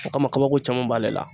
O kama kabako caman b'ale la.